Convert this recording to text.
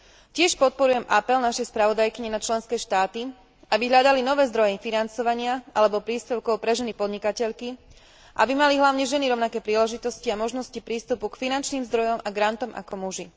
Tiež podporujem apel našej spravodajkyne na členské štáty, aby hľadali nové zdroje financovania alebo príspevkov pre ženy podnikateľky, aby mali hlavne ženy rovnaké príležitosti a možnosti prístupu k finančným zdrojom a grantom ako muži.